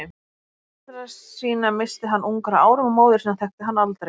Foreldra sína missti hann ungur að árum og móður sína þekkti hann aldrei.